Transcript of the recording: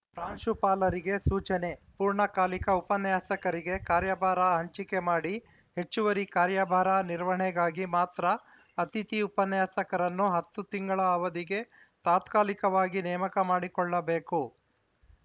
ಪ್ರಾಂಶುಪಾಲರಿಗೆ ಸೂಚನೆ ಪೂರ್ಣಕಾಲಿಕ ಉಪನ್ಯಾಸಕರಿಗೆ ಕಾರ್ಯಭಾರ ಹಂಚಿಕೆ ಮಾಡಿ ಹೆಚ್ಚುವರಿ ಕಾರ್ಯಭಾರ ನಿರ್ವಹಣೆಗಾಗಿ ಮಾತ್ರ ಅತಿಥಿ ಉಪನ್ಯಾಸಕರನ್ನು ಹತ್ತು ತಿಂಗಳ ಅವಧಿಗೆ ತಾತ್ಕಾಲಿಕವಾಗಿ ನೇಮಕ ಮಾಡಿಕೊಳ್ಳಬೇಕು